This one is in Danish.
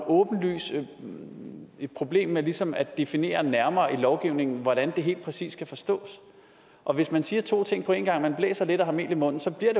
åbenlyst et problem med ligesom at definere nærmere i lovgivningen hvordan det helt præcis skal forstås og hvis man siger to ting på en gang man blæser lidt og har mel i munden så bliver